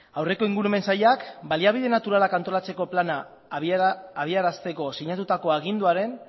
aurreko ingurumen sailak baliabide naturalak antolatzeko plana habiarazteko sinatutako aginduan